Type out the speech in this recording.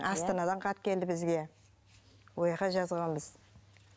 астанадан хат келді бізге жазғанбыз